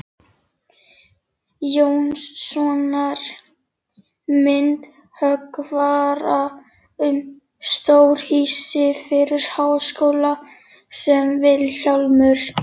Jónssonar, myndhöggvara, um stórhýsi fyrir háskóla, sem Vilhjálmur